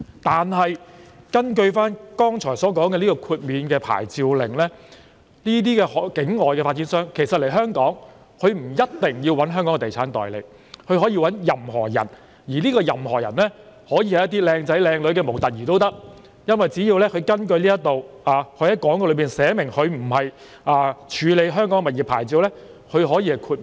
然而，根據剛才所說的豁免領牌令，境外發展商來港銷售物業不一定要聘用香港的地產代理，他們可以聘用任何人，這些人可以是外貌出眾的模特兒，因為只要在廣告中註明沒有處理香港物業的牌照便可以獲得豁免。